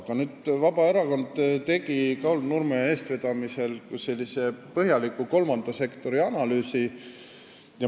Aga nüüd tegi Vabaerakond Kaul Nurme eestvedamisel põhjaliku kolmanda sektori analüüsi.